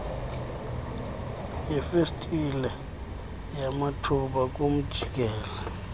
yefestile yamathuba kumjikelo